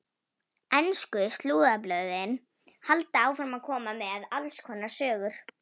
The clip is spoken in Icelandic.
Ensku slúðurblöðin halda áfram að koma með alls konar sögur.